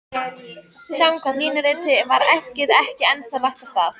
Samkvæmt línuritinu var eggið ekki ennþá lagt af stað.